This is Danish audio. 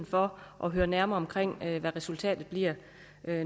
for at høre nærmere om hvad resultatet bliver